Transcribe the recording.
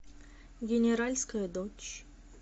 генеральская дочь